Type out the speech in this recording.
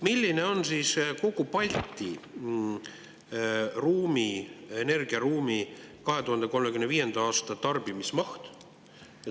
Milline on siis kogu Balti energiaruumi 2035. aasta tarbimise maht?